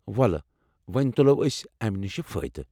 وولہٕ وونۍ تُلو ٲسۍ امہِ نِشہ فٲیِدٕ ۔